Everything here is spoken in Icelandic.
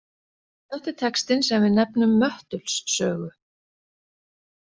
Þetta er textinn sem við nefnum Möttuls sögu.